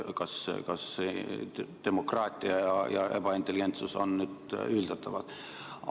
Kas demokraatia ja ebaintelligentsus on ühildatavad?